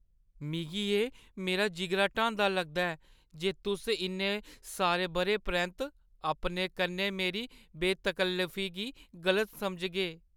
मिगी एह् मेरा जिगरा ढांदा लगदा ऐ जे तुस इन्ने सारे बʼरें परैंत्त अपने कन्नै मेरी बेतकल्लफी गी गलत समझगे।